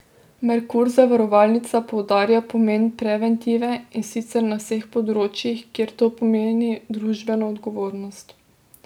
Merkur zavarovalnica poudarja pomen preventive, in sicer na vseh področjih, kjer to pomeni družbeno odgovornost.